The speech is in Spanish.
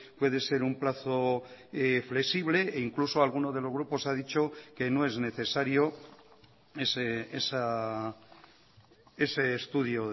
puede ser un plazo flexible e incluso alguno de los grupos ha dicho que no es necesario ese estudio